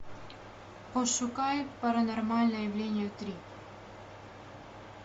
пошукай паранормальное явление три